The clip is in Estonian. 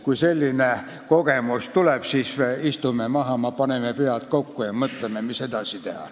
Kui selline kogemus kunagi tuleb, siis istume maha, paneme pead kokku ja mõtleme, mis edasi teha.